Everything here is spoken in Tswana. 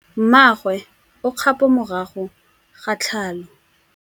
Mmagwe o kgapô morago ga tlhalô.